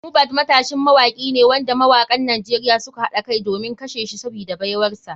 Mohbad matashin mawaki ne wanda mawakan nigeria suka haɗa kai domin kashe shi sabida baiwarsa.